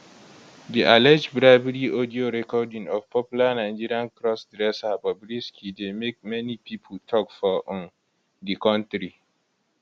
di allege bribery audio recording of popular nigeria cross dresser bobrisky dey make many pipo tok for um di kontri